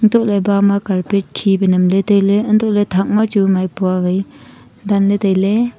etoh ley bama carpet khi pe nam ley tai ley hantoh ley thak ma chu maipua wai dan ley tai ley.